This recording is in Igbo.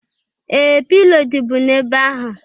Ee! Pilo dịbu n'ebe ahụ.